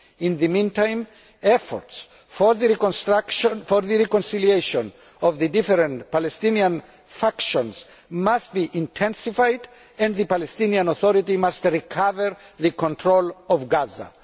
In the meantime, efforts for the reconciliation of the different Palestinian factions must be intensified and the Palestinian Authority must recover control of Gaza.